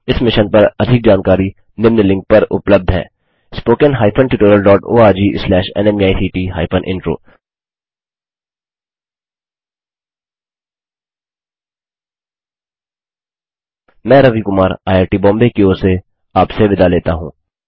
इस मिशन पर अधिक जानकारी निम्न लिंक पर उपलब्ध है spoken hyphen tutorial dot ORG slash नमेक्ट हाइफेन इंट्रो मैं रवि कुमार आईआईटीबॉम्बे की ओर से आपसे विदा लेता हूँ